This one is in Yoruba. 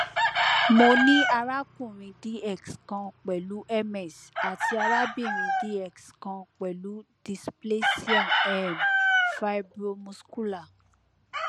mo ni arakunrin dx kan pẹlu ms ati arabinrin dx kan pẹlu displasia um fibromuscular